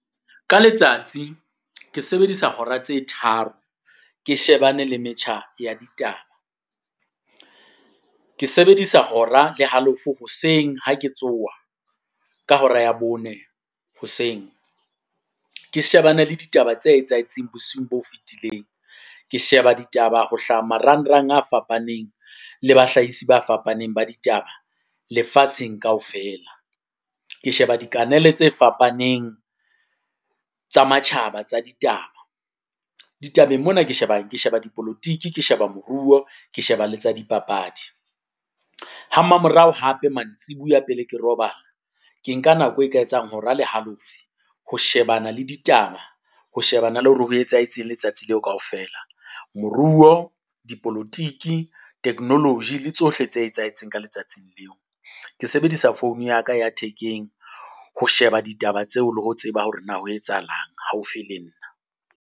Ka letsatsi ke sebedisa hora tse tharo ke shebane le metjha ya ditaba, ke sebedisa hora le halofo hoseng ha ke tsoha ka hora ya bone hoseng. Ke shebane le ditaba tse etsahetseng bosiung bo fetileng. Ke sheba ditaba ho hlaha marangrang a fapaneng le bahlahisi ba fapaneng ba ditaba lefatsheng kaofela. Ke sheba dikanele tse fapaneng tsa matjhaba tsa ditaba, ditabeng mona ke sheba ke sheba dipolotiki, ke sheba moruo, ke sheba le tsa dipapadi. Ha mamorao hape mantsibuya pele ke robala, ke nka nako e ka etsang hora le halofo, ho shebana le ditaba, ho shebana le hore ho etsahetseng letsatsi leo kaofela, moruo, dipolotiki, technology le tsohle tse etsahetseng ka letsatsing leo. Ke sebedisa phone ya ka ya thekeng ho sheba ditaba tseo le ho tseba hore na ho etsahalang haufi le nna.